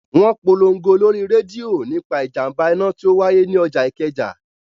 Wọn polongo lórí rédíò nípa ìjàmbá iná tí ó wáyé ni ọjà Ikeja